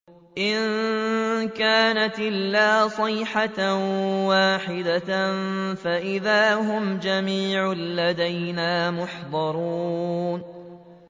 إِن كَانَتْ إِلَّا صَيْحَةً وَاحِدَةً فَإِذَا هُمْ جَمِيعٌ لَّدَيْنَا مُحْضَرُونَ